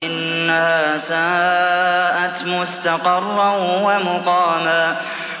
إِنَّهَا سَاءَتْ مُسْتَقَرًّا وَمُقَامًا